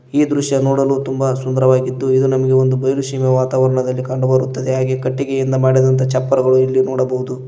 ಈ ದೃಶ್ಯ ನೋಡಲು ತುಂಬ ಸುಂದರವಾಗಿದ್ದು ಇದು ನಮಗೆ ಒಂದು ಬಯಲು ಸೀಮೆಯ ವಾತಾವರಣದಲ್ಲಿ ಕಂಡು ಬರುತ್ತದೆ ಹಾಗೆ ಕಟ್ಟಿಗೆಯಿಂದ ಮಾಡಿದಂತ ಚಪ್ಪರಗಳು ಇಲ್ಲಿ ನೋಡಬಹುದು.